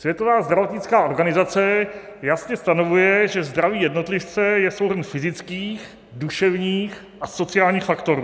Světová zdravotnická organizace jasně stanovuje, že zdraví jednotlivce je souhrn fyzických, duševních a sociálních faktorů.